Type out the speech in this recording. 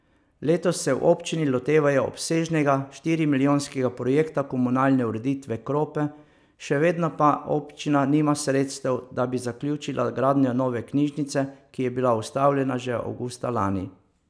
Letos se v občini lotevajo obsežnega, štirimilijonskega projekta komunalne ureditve Krope, še vedno pa občina nima sredstev, da bi zaključila gradnjo nove knjižnice, ki je bila ustavljena že avgusta lani.